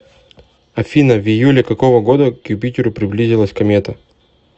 афина в июле какого года к юпитеру приблизилась комета